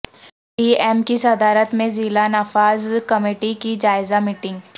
D M کی صدارت میں ضلع نفاذ کمیٹی کی جائزہ میٹنگ